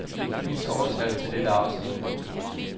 Vis overskrift til dette afsnit.